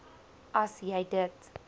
as jy dit